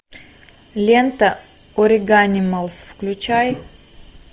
лента ориганималс включай